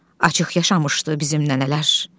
Açıq yaşamışdı bizim nənələr.